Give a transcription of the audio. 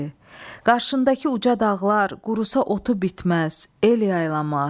Qarşındakı uca dağlar qurutsa otu bitməz, el yaylamaz.